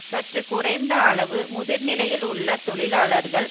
சற்று குறைந்த அளவு முதிர் நிலையில் உள்ள தொழிலாளர்கள்